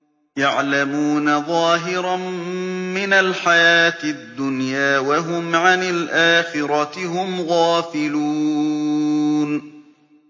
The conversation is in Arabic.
يَعْلَمُونَ ظَاهِرًا مِّنَ الْحَيَاةِ الدُّنْيَا وَهُمْ عَنِ الْآخِرَةِ هُمْ غَافِلُونَ